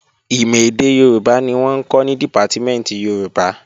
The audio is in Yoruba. Ìmọ̀ èdè Yorùbá ni wọ́n ń kọ́ ní Dìpátímẹ̀ntì Yorùbá